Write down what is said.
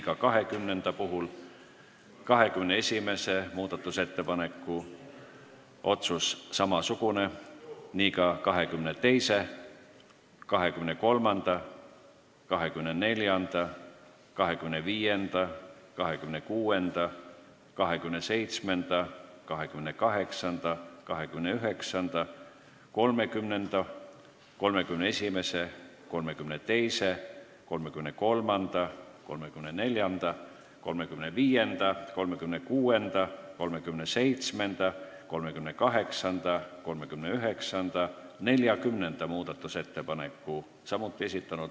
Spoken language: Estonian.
Ka 20. ja 21. muudatusettepaneku puhul on otsus samasugune, samuti 22., 23., 24., 25., 26., 27., 28., 29., 30., 31., 32., 33., 34., 35., 36., 37., 38., 39., 40. muudatusettepaneku puhul.